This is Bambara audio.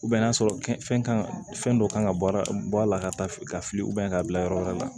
n'a sɔrɔ fɛn kan ka fɛn dɔ kan ka bɔ a la ka taa fili ka bila yɔrɔ wɛrɛ la